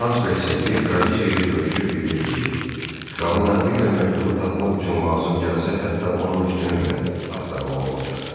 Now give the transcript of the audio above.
Kansler Seqe kraliça ilə görüşüb bildirdi ki, kralın əmri ilə məktubu tapmaq üçün lazım gəlsə, hətta onun üstünü belə axtarmalı olacaq.